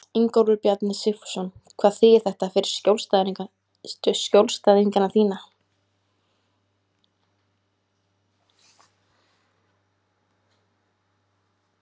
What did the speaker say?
Ingólfur Bjarni Sigfússon: Hvað þýðir þetta fyrir skjólstæðinga þína?